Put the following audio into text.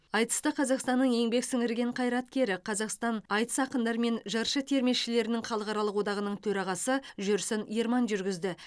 айтысты қазақстанның еңбек сіңірген қаираткері қазақстан аитыс ақындары мен жыршы термешілерінің халықаралық одағының төрағасы жүрсін ерман жүргізді